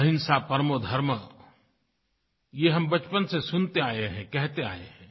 अहिंसा परमो धर्म ये हम बचपन से सुनते आये हैं कहते आये हैं